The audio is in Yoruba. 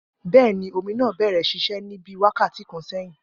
Bẹẹni, omi naa bẹrẹ ṣiṣe ni bii wakati kan sẹhin.